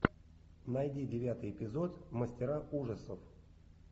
найди девятый эпизод мастера ужасов